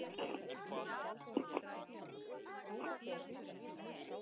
Ég verð að koma